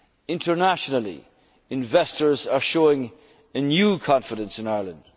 control. Internationally, investors are showing a new confidence